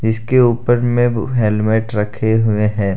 इसके ऊपर में हेलमेट रखे हुए हैं।